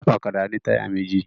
Ọ̀kadà ní táyà méjì